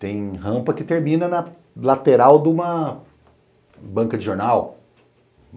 Tem rampa que termina na lateral de uma banca de jornal.